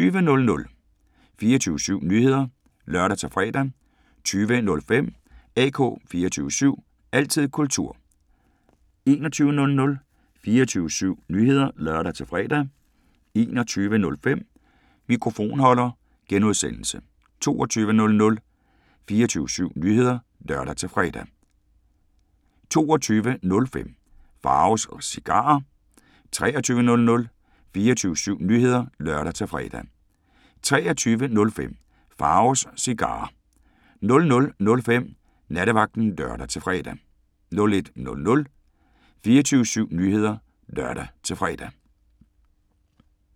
20:00: 24syv Nyheder (lør-fre) 20:05: AK 24syv – altid kultur 21:00: 24syv Nyheder (lør-fre) 21:05: Mikrofonholder (G) 22:00: 24syv Nyheder (lør-fre) 22:05: Pharaos Cigarer 23:00: 24syv Nyheder (lør-fre) 23:05: Pharaos Cigarer 00:05: Nattevagten (lør-fre) 01:00: 24syv Nyheder (lør-fre)